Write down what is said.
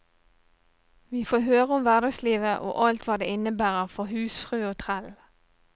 Vi får høre om hverdagslivet og alt hva det innebærer for husfrue og trell.